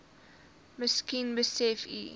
miskien besef u